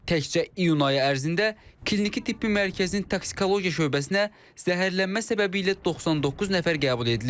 Təkcə iyun ayı ərzində Kliniki Tibbi Mərkəzin toksikologiya şöbəsinə zəhərlənmə səbəbi ilə 99 nəfər qəbul edilib.